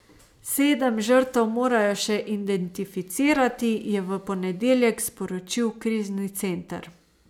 Sedem žrtev morajo še identificirati, je v ponedeljek sporočil krizni center.